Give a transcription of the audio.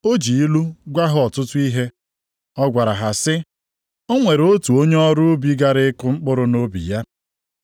O ji ilu gwa ha ọtụtụ ihe. Ọ gwara ha sị, “O nwere otu onye ọrụ ubi gara ịkụ mkpụrụ nʼubi ya.